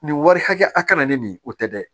Nin wari hakɛ ya a kana ne ni o tɛ dɛ